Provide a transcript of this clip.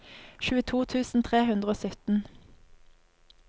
tjueto tusen tre hundre og sytten